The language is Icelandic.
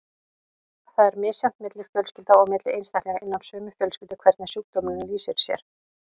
Það er misjafnt milli fjölskylda og milli einstaklinga innan sömu fjölskyldu hvernig sjúkdómurinn lýsir sér.